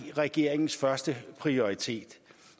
regeringens førsteprioritet